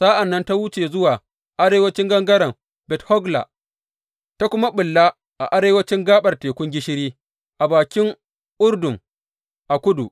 Sa’an nan ta wuce zuwa arewancin gangaren Bet Hogla ta kuma ɓulla a arewancin gaɓar Tekun Gishiri, a bakin Urdun a kudu.